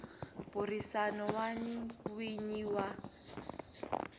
burisana na n winyi wa